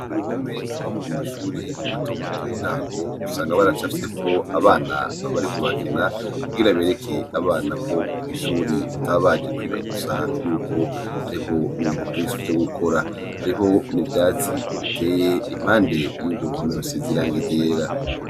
Uruhome rwamwe mumashure matomato yintago usanga baracafyeko abana bariko barakina kugira bereke abana kw'ishure ko bataba baje kwiga gusa yuko hari ibintu vyinshi vyo gukora . Hari ho n'ivyatsi biteye impande yuruhome rusize irangi ryera.